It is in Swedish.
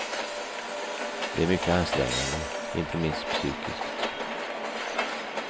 Det är mycket ansträngande, inte minst psykiskt.